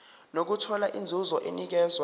nokuthola inzuzo enikezwa